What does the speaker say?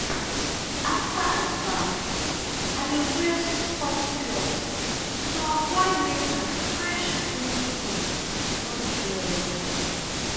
after i baff i dey wear soft cloth to avoid make my fresh clean skin no do anyhow.